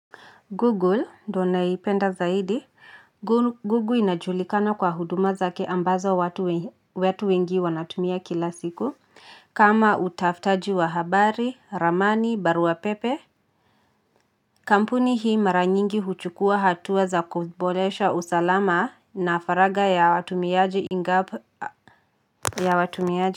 Google, ndo naipenda zaidi, Google inajulikana kwa huduma zake ambazo watu wengi wanatumia kila siku, kama utafutaji wa habari, ramani, baruapepe. Kampuni hii maranyingi huchukua hatua za kubolesha usalama na faraga ya watumiaji ingapo ya watumiaji.